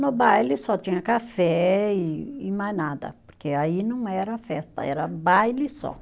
No baile só tinha café e e mais nada, porque aí não era festa, era baile só.